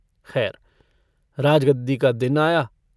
खैर राजगद्दी का दिन आया।